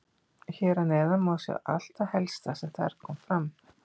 Hér að neðan má sjá allt það helsta sem þar kom fram.